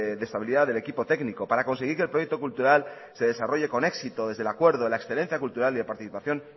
de estabilidad del equipo técnico para conseguir que el proyecto cultural se desarrolle con éxito desde el acuerdo de la excelencia cultural y la participación